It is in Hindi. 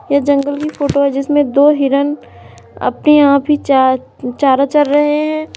ये जंगल की फोटो है जिसमें दो हिरन अपने आप ही चार चारा चर रहे हैं।